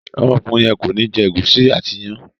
Ọmọkùnrin yen kọ ní jé gusi àti iyán.